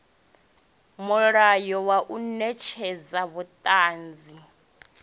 mulayo wa u netshedza vhuṱanzi